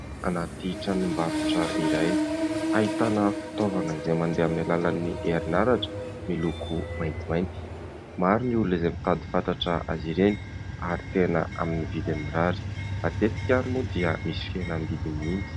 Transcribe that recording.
Anaty tranombarotra iray, ahitana fitaovana izay mandeha amin'ny alalan'ny herinaratra miloko maintimainty ; maro ny olona izay mitady fatratra azy ireny ary tena amin'ny vidiny mirary matetika ary moa dia misy fihenam-bidy mihitsy.